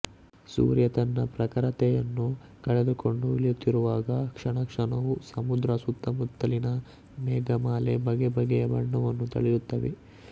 ಸೂರ್ಯ ತನ್ನ ಪ್ರಖರತೆಯನ್ನು ಕಳೆದುಕೊಂಡು ಇಳಿಯುತ್ತಿರುವಾಗ ಕ್ಷಣಕ್ಷಣವೂ ಸಮುದ್ರ ಸುತ್ತಮುತ್ತಲಿನ ಮೇಘಮಾಲೆ ಬಗೆಬಗೆಯ ಬಣ್ಣವನ್ನು ತಳೆಯುತ್ತವೆ